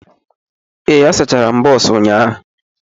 Ee, asachara m bọs ụnyahụ.